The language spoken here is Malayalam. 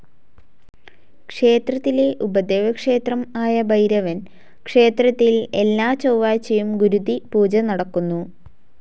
ക്ഷേത്രത്തിലെ ഉപദേവക്ഷേത്രംആയ ഭൈരവൻ ക്ഷേത്രത്തിൽ എല്ലാ ചൊവാഴ്ചയും ഗുരുതി പൂജ നടക്കുന്നു.